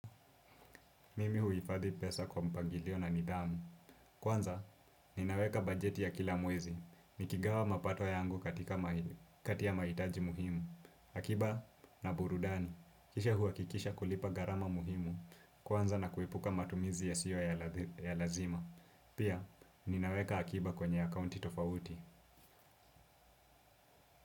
Mimi huifadhi pesa kwa mpangilio na nidhamu. Kwanza, ninaweka bajeti ya kila mwezi. Nikigawa mapato yangu katika mahitaji muhimu akiba na burudani kisha huwakikisha kulipa gharama muhimu kwanza na kuepuka matumizi ya sio ya lazima. Pia, ninaweka akiba kwenye akaunti tofauti.